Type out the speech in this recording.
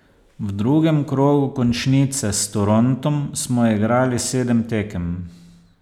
V drugem krogu končnice s Torontom smo igrali sedem tekem.